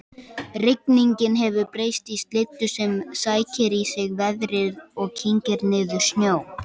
Rigningin hefur breyst í slyddu sem sækir í sig veðrið og kyngir niður snjó